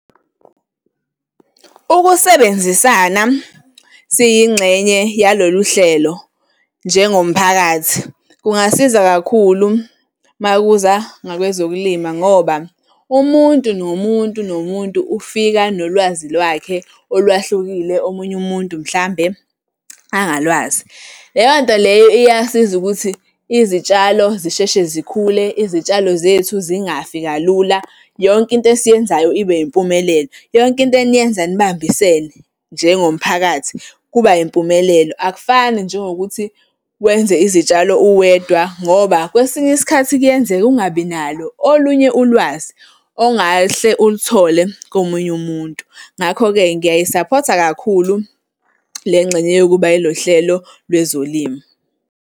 Ukusebenzisana siyingxenye yalolu hlelo njengomphakathi, kungasiza kakhulu uma kuza ngakwezokulima ngoba umuntu, nomuntu, nomuntu, ufika nolwazi lwakhe olwahlukile, omunye umuntu mhlambe angalwazi. Leyo nto leyo iyasiza ukuthi izitshalo zisheshe zikhule izitshalo zethu zingafi kalula. Yonke into esiyenzayo ibe impumelelo, yonke into eniyenza nibambisene njengomphakathi kuba impumelelo akufani njengokuthi wenze izitshalo uwedwa ngoba kwesinye isikhathi kuyenzeka ungabi nalo olunye ulwazi ongahle uluthole komunye umuntu. Ngakho-ke ngiyayisaphotha kakhulu le ngxenye yokuba ilo hlelo lwezolimo.